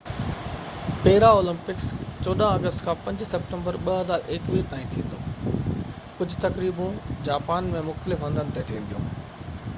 پيرا Olympics 14 August کان 5 September 2021 تائين ٿيندو ڪجهہ تقريبون جاپان ۾ مختلف هنڌن تي ٿينديون